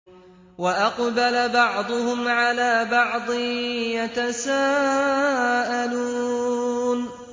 وَأَقْبَلَ بَعْضُهُمْ عَلَىٰ بَعْضٍ يَتَسَاءَلُونَ